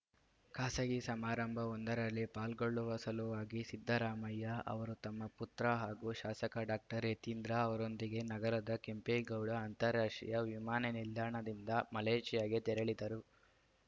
ಖಾಸಗಿ ಸಮಾರಂಭವೊಂದರಲ್ಲಿ ಪಾಲ್ಗೊಳ್ಳುವ ಸಲುವಾಗಿ ಸಿದ್ದರಾಮಯ್ಯ ಅವರು ತಮ್ಮ ಪುತ್ರ ಹಾಗೂ ಶಾಸಕ ಡಾಕ್ಟರ್ ಯತೀಂದ್ರ ಅವರೊಂದಿಗೆ ನಗರದ ಕೆಂಪೇಗೌಡ ಅಂತಾರಾಷ್ಟ್ರೀಯ ವಿಮಾನ ನಿಲ್ದಾಣದಿಂದ ಮಲೇಷ್ಯಾಗೆ ತೆರಳಿದರು